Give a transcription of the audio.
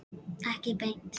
Ekki beint